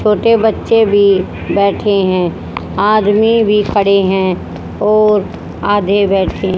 छोटे बच्चे भी बैठे हैं आदमी भी पड़े हैं और आधे बैठे--